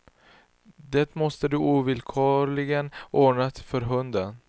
Det måste du ovillkorligen ordna för hunden.